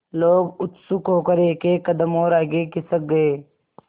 लोग उत्सुक होकर एकएक कदम और आगे खिसक गए